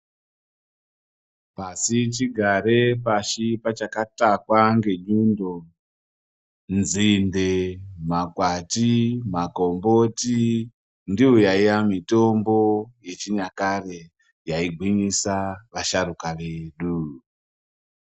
Pasichigare pasi pachakatakwa ngenyundo nzinde, makwati, makomboti ndiyo yaiya mitombo yechinyakare yaigwinyisa vasharuka vedu.